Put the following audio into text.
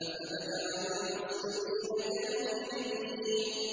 أَفَنَجْعَلُ الْمُسْلِمِينَ كَالْمُجْرِمِينَ